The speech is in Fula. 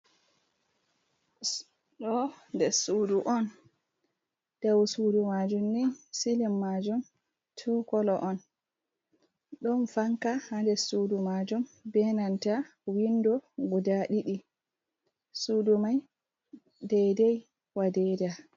Ɗo ɗeɗ suɗu on, ɗaw suɗu majum ni silim majum tu kolo on. Ɗon fanka ha nɗeɗ suɗu majum, ɓe nanta winɗo guɗa ɗiɗi. Suɗu mai ɗaiɗai wa ɗeɗa.